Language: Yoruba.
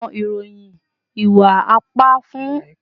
Awọn iroyin iwa-ipa fun ọpọlọpọ awọn iku ajalu ni agbaye